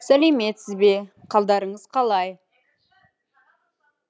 сәлеметсіз бе қалдарыңыз қалай